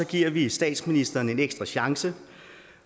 giver vi statsministeren en ekstra chance